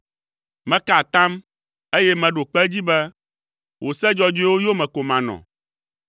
Meka atam, eye meɖo kpe edzi be, wò se dzɔdzɔewo yome ko manɔ.